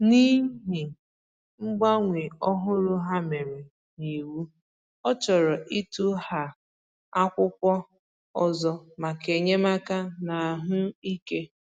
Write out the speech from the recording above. N’ihi mgbanwe òhùrù ha mere n’iwu, ọ chọ̀rò ịtụghà akwụkwọ ọzọ maka enyémàkà n’ahụ́ ike.